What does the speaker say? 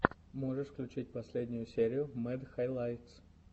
можешь включить последнюю серию мэд хайлайтс